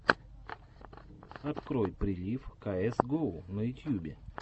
открой прилив каэс гоу на ютьюбе